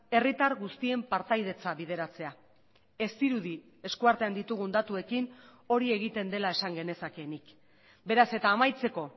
herritar guztien partaidetza bideratzea ez dirudi eskuartean ditugun datuekin hori egiten dela esan genezakeenik beraz eta amaitzeko